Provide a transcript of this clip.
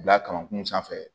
Bila kamankun sanfɛ